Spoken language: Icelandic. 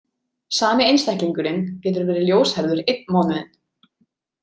Sami einstaklingurinn getur verið ljóshærður einn mánuðinn.